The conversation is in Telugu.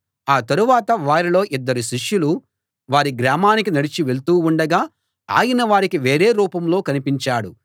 ఆ తరువాత వారిలో ఇద్దరు శిష్యులు వారి గ్రామానికి నడిచి వెళ్తూ ఉండగా ఆయన వారికి వేరే రూపంలో కనిపించాడు